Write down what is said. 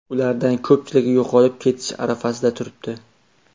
Ulardan ko‘pchiligi yo‘qolib ketish arafasida turibdi.